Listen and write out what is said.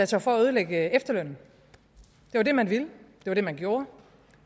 sig for at ødelægge efterlønnen det var det man ville det var det man gjorde